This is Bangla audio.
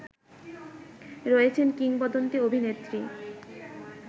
রয়েছেন কিংবদন্তী অভিনেত্রী